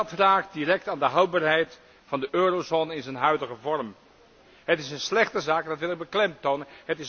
Dat raakt direct aan de houdbaarheid van de eurozone in zijn huidige vorm. Het is een slechte zaak en dat wil ik beklemtonen.